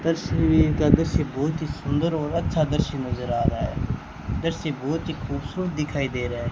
तस्वीर का दृश्य बहुत ही सुंदर और अच्छा दृश्य नजर आ रहा है दृश्य बहुत ही खूबसूरत दिखाई दे रहा है।